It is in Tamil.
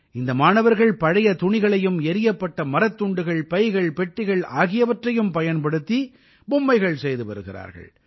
இந்த மாணவர்கள் பழைய துணிகளையும் எறியப்பட்ட மரத்துண்டுகள் பைகள் பெட்டிகள் ஆகியவற்றையும் பயன்படுத்தி பொம்மைகள் செய்து வருகிறார்கள்